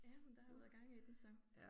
Ja men der har været gang i den så